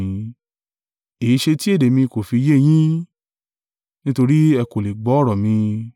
Èéṣe tí èdè mi kò fi yé yín? Nítorí ẹ kò lè gbọ́ ọ̀rọ̀ mi.